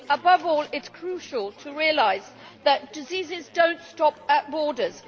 Above all, it is crucial to realise that diseases do not stop at borders.